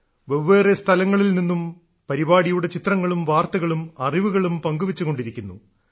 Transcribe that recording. വെവ്വേറെ സ്ഥലങ്ങളിൽ നിന്നും പരിപാടിയുടെ ചിത്രങ്ങളും വാർത്തകളും അറിവുകളും പങ്കുവെച്ചുകൊണ്ടിരിക്കുന്നു